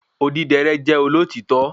Odidẹrẹ́ jẹ́ olotitọ